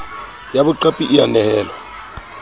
ya boqapi e a nehelwa